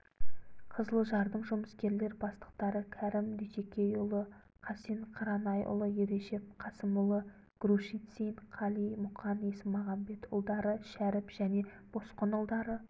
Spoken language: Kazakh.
қызылжардың жұмыскерлер бастықтары кәрім дүйсекейұлы қасен қаранайұлы ережеп қасымұлы грушицин қали мұқан есмағамбетұлдары шәріп және босқынұлдары